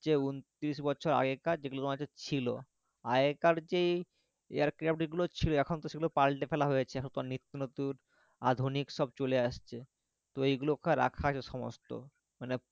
যেমন ত্রিশ বচ্ছর আগেকার যেগুলো তোমার হচ্ছে ছিল আগেকার যেই air craft গুলো ছিল এখন তো সেইগুলো পালটে ফেলা হয়েছে এখন তো নিত্য নতুন আধুনিক সব চলে আসছে তো এইগুলোকে রাখা আছে সমস্ত মানে,